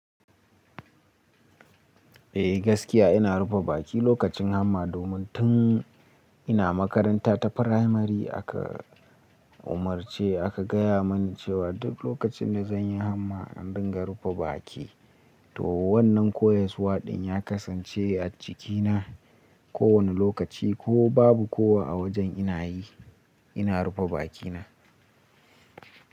Eh gaskiya ina rufe baki lokacin hamma domin tun ina makaranta ta firamari aka umarce aka gaya mini cewa duk lokacin da zan yi hamma in ringa rufe baki. To wannan koyaswa ɗin ya kasance a jikina, kowane lokaci ko babu kowa a wajen ina yi, ina rufe bakina.